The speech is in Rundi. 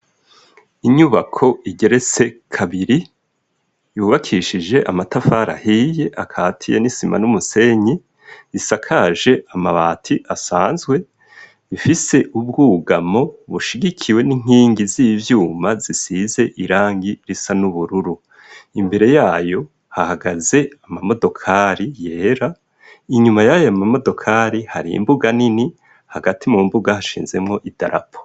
Inyubako igeretse kabiri yubakishije amatafarahiye akati ya nisima n'umusenyi isakaje amabati asanzwe ifise ubwugamo bushigikiwe n'inkingi z'ivyuma zisize irangi risa n'ubururu imbere yayo ahagaze amamodokali yera inyuma yayo amamodokari hari imbuga nini hagati mu mbuga hashinzemwo i darapo.